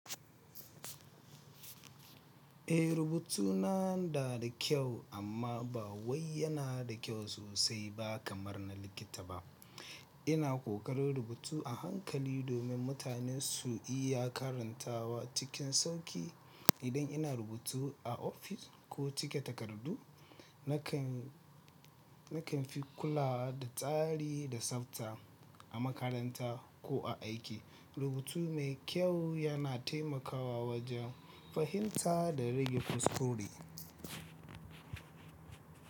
Eh, rubutu na da da kyau amma ba wai yana da kyau sosai ba kamar na likita ba. Ina ƙokarin rubutu a hankali domin mutane su iya karantawa cikin sauƙi. Idan ina rubutu a ofis ko cike takardu, nakan fi kulawa da tsari da tsafta. A makaranta ko a aiki, rubutu mai kyau yana taimakawa wajen fahimta da rage kuskuri.